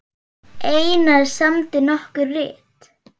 Einar samdi nokkur rit